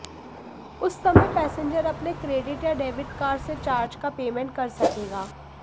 उस समय पैसेंजर अपने क्रेडिट या डेबिट कार्ड से चार्ज का पेमेंट कर सकेगा